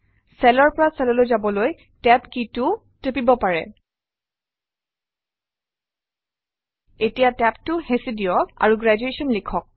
চেলৰ পৰা চেললৈ যাবলৈ TAB key টোও টিপিব পাৰে এতিয়া TAB টো হেঁচি দিয়ক আৰু গ্ৰেজুৱেশ্যন লিখক